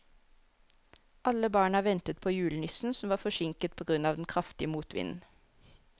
Alle barna ventet på julenissen, som var forsinket på grunn av den kraftige motvinden.